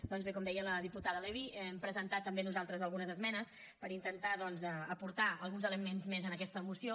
doncs bé com deia la diputada levy hem presentat també nosaltres algunes esmenes per intentar doncs aportar alguns elements més en aquesta moció